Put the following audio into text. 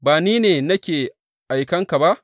Ba Ni ne nake aikan ka ba?